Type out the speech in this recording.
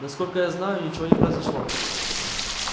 насколько я знаю ничего не произошло